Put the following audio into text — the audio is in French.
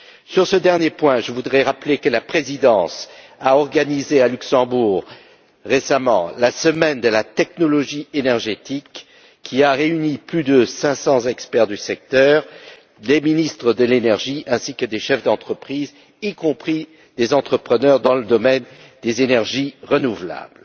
Sur ce dernier point, je voudrais rappeler que la Présidence a organisé à Luxembourg, récemment, la semaine de la technologie énergétique, qui a réuni plus de 500 experts du secteur, les ministres de l'énergie ainsi que des chefs d'entreprise, y compris des entrepreneurs dans le domaine des énergies renouvelables.